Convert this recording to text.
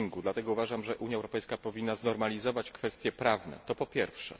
Dlatego uważam, że Unia Europejska powinna znormalizować kwestie prawne to po pierwsze.